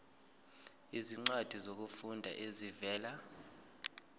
izincwadi zokufunda ezivela